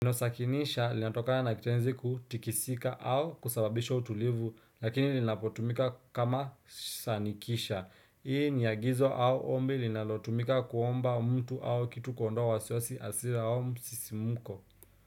Neno sakinisha linatokana na kitenzi kutikisika au kusababisha utulivu lakini linapotumika kama sanikisha. Hii ni agizo au ombi linalotumika kuomba mtu au kitu kuondoa wasiwasi hasira au msisimko.